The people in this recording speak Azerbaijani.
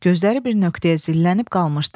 Gözləri bir nöqtəyə zillənib qalmışdı.